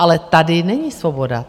Ale tady není svoboda.